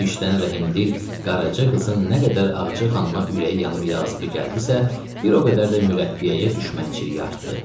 Bu işdən rəhimdil Qaraca qızın nə qədər Ağacı xanıma ürəyi yanıb yazığı gəldisə, bir o qədər də mürəbbiyəyə düşmənçiliyi artdı.